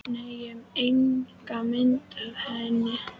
Nei, ég enga mynd af henni.